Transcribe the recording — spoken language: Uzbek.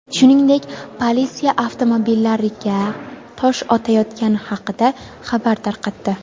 shuningdek politsiya avtomobillariga tosh otayotgani haqida xabar tarqatdi.